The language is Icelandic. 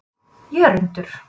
Jörundur